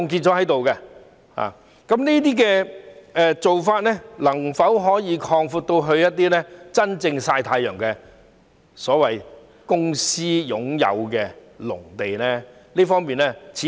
這做法能否擴展至真正在"曬太陽"由公私營擁有的農地呢？